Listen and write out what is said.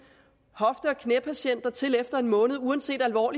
hofte og knæpatienter kommer til efter en måned uanset hvor